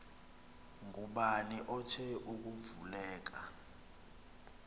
ngubani othe akuvuleka